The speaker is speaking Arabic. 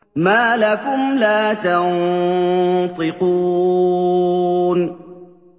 مَا لَكُمْ لَا تَنطِقُونَ